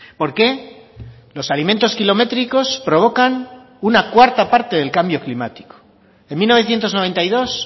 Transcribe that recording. por qué los alimentos kilométricos provocan una cuarta parte del cambio climático en mil novecientos noventa y dos